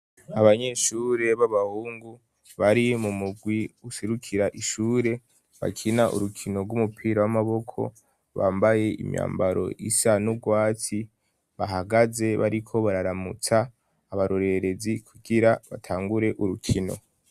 Abanyeshure b'abahungu bari mu mugwi userukira ishure, bakina urukino rw'umupira w'amaboko bambaye imyambaro isa nugwati bahagaze bariko bararamutsa abarorerezi kukira batangure urukino.